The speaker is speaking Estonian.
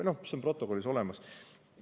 Noh, see on protokollis olemas.